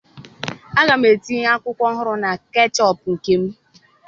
Aga m etinye akwụkwọ ọhụrụ na ketchup nke m.